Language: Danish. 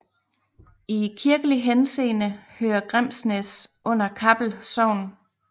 I kirkelig henseende hører Grimsnæs under Kappel Sogn